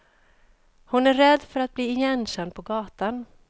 Hon är rädd för att bli igenkänd på gatan.